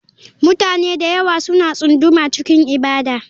Mutane da yawa suna tsunduma cikin ibada.